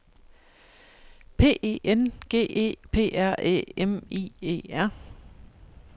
P E N G E P R Æ M I E R